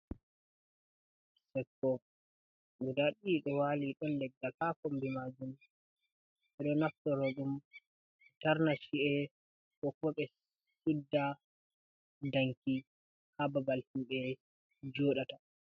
Chekke, guda ɗiɗi, ɗo waali dou leggal, ha kombi majum. Ɓeɗo naftaro dum, be tarna chi’e, kooboo ɓe sudda danki ha babal himbe jodataa.